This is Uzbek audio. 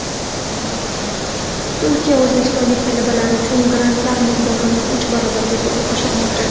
Turkiya o‘zbekistonlik talabalar uchun grantlar miqdorini uch barobarga oshirmoqchi .